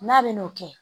N'a bɛ n'o kɛ